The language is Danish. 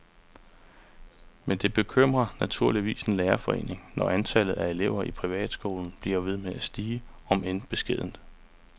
Men det bekymrer naturligvis en lærerforening, når antallet af elever i privatskolen bliver ved med at stige, om end beskedent.